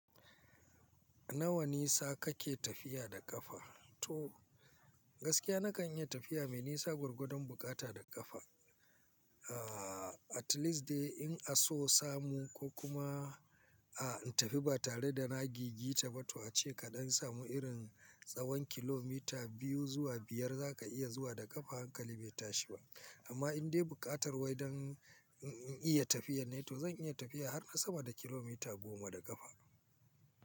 Nawa nisa kake tafiya da ƙafa? To gaskiya na kan iya tafiya mai nisa gwargwadon buƙata da ƙafa. Aaa at least dai in an so samu ko kuma ah in tafi ba tare da na giggita ba to a ce kaɗan samu irin tsawon kilomita biyu zuwa biyar za ka iya zuwa da ƙafa hankali bai tashi ba. Amma in dai buƙatar wai don in, in iya tafiyan ne, to zan iya tafiya har sama da kilomita goma da ƙafa.